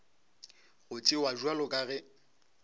go tšewa bjalo ka ge